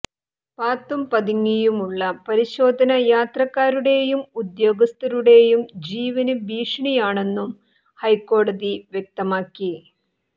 പാത്തും പതുങ്ങിയുമുള്ള പരിശോധന യാത്രക്കാരുടെയും ഉദ്യോഗസ്ഥരുടെയും ജീവന് ഭീഷണിയാണെന്നും ഹൈക്കോടതി വ്യക്തമാക്കി